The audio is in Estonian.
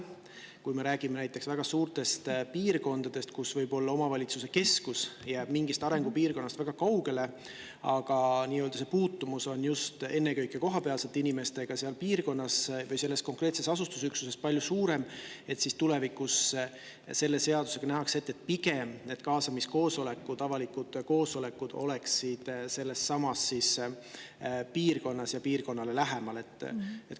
Selles mõttes, et kui me räägime näiteks väga suurtest piirkondadest, kus omavalitsuse keskus jääb võib-olla mingist arengupiirkonnast väga kaugele, aga kuna see puutumus on ennekõike just selles piirkonnas kohapeal olevatel inimestel või selles konkreetses asustusüksuses palju suurem, siis selle seadusega nähakse tulevikus pigem ette, et need kaasamiskoosolekud, avalikud koosolekud toimuksid selles samas piirkonnas ja piirkonnale lähemal.